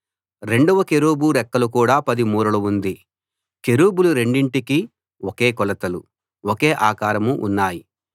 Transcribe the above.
రెండవ కెరూబు రెక్కలు కూడా 10 మూరలు ఉంది కెరూబులు రెండింటికీ ఒకే కొలతలు ఒకే ఆకారం ఉన్నాయి